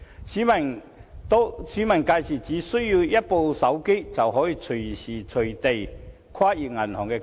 市民屆時只需要一部手機，便可隨時隨地進行跨銀行結帳。